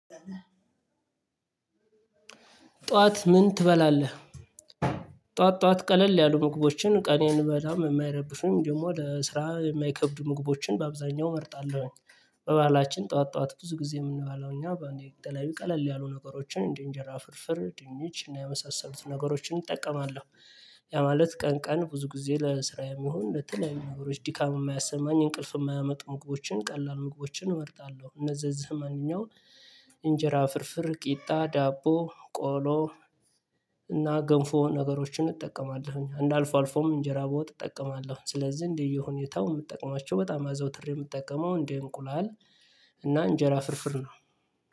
ጠዋት ምን ትበላለህ? ጠዋት ጠዋት ቀለል ያሉ ምግቦችን ቀኔን በጣም የማይረብሱም ደግሞ ለስራ የማይከብዱ ምግቦችን በአብዛኛው እመርጣለሁ። በባህላችን ጠዋት ጠዋት ብዙ ጊዜ የምንመገበው እኛ በአንዴ ተለያይ ቀለል ያሉ ነገሮችን እንዴ እንጀራ ፍርፍር ድንች እና ያመሳሰሉትን ነገሮችን እጠቀማለሁ። ያ ማለት ቀን ቀን ብዙ ጊዜ ለስራ የሚሆን በተለይ ነገሮች ዲካም የማያሰማኝ እንቅልፍ የማያመጡ ምግቦችን ቀላል ምግቦችን እመርጣለሁ። እነዛን ዘመንኛው እንጀራ ፍርፍር ቂጣ ዳቦ ቆሎ። እና ገንፎ ነገሮችን እጠቀማለሁኝ አንድ አልፎ አልፎም እንጀራ በወጥ እጠቀማለሁ። ስለዚህ እንደየሁኔታው የምጠቀማቸው በጣም አዘውትሬ የምጠቀመው እንዴ እንቁላል እና እንጀራ ፍርፍር ነው።